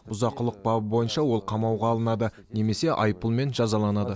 бұзақылық бабы бойынша ол қамауға алынады немесе айыппұлмен жазаланады